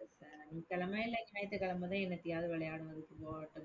இந்த சனிக்கிழமை இல்லாட்டி ஞாயித்துக்கிழமைதான் என்னத்தையாவது விளையாடுவதற்கு போகட்டும்